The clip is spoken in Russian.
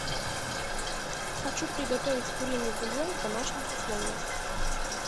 хочу приготовить куриный бульон в домашних условиях